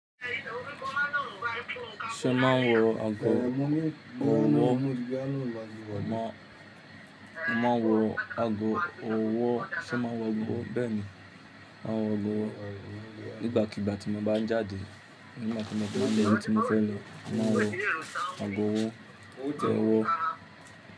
Ṣé ma wọ ago ọwọ́? Màá wọ ago ọwọ́, ṣe ma wọ ago bẹ́ẹ̀ ni, màá wọ̀ ọ́ nígbàkigbà tí mo bá ń jáde. Nígbà tí mo bá mọ ibi tí mo fẹ́ lọ. Màá wọ ago ọwọ́, s'ọ́wọ́.